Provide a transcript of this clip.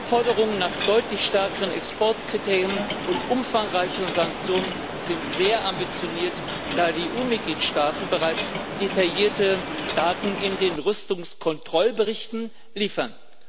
Forderungen nach deutlich stärkeren Exportkriterien und umfangreichere Sanktionen sind sehr ambitioniert, da die EU Mitgliedstaaten bereits detaillierte Daten in den Rüstungskontrollberichten liefern.